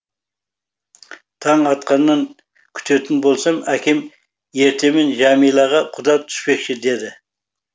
таң атқанын күтетін болсам әкем ертемен жәмилаға құда түспекші деді